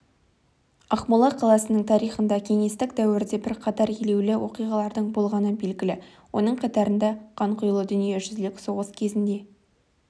ақмола қаласының тарихында кеңестік дәуірде бірқатар елеулі оқиғалардың болғаны белгілі оның қатарында қанқұйлы дүниежүзілік соғыс кезінде